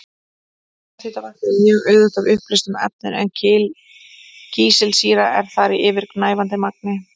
Jarðhitavatn er mjög auðugt af uppleystum efnum en kísilsýra er þar í yfirgnæfandi magni.